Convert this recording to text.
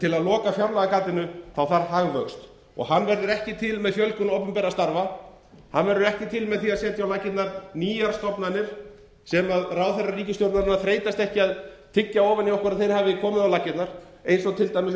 til að loka fjárlagagatinu þarf hagvöxt og hann verður ekki til með fjölgun opinberra starfa hann verður ekki til með því að setja á laggirnar nýjar stofnanir sem ráðherrar ríkisstjórnarinnar þreytast ekki á að tyggja ofan í okkur að þeir hafi komið á laggirnar eins og til dæmis